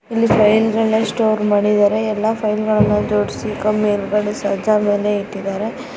ಇಲ್ಲಿ ಫೈಲ್ ಗಳನ್ನು ಸ್ಟೋರ್ ಮಾಡಿದ್ದಾರೆ ಎಲ್ಲಾ ಫೈಲ್ ಗಳನ್ನು ಜೋಡಿಸಿ ಹಿಂದಗಡೆ ಸಜ್ಜಾ ಮೇಲೆ ಇಟ್ಟಿದ್ದಾರೆ.